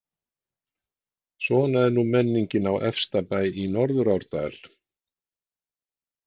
Svona er nú menningin á efsta bæ í Norðurárdal.